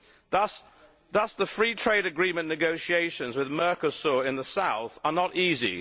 Thus the free trade agreement negotiations with Mercosur in the South are not easy.